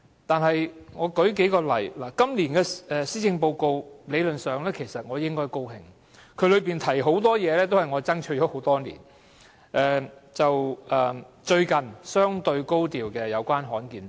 對今年的施政報告，理論上我應感到高興，當中有許多事情均是我爭取了很多年的，讓我舉數個例子說明。